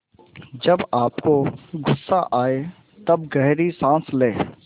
जब आपको गुस्सा आए तब गहरी सांस लें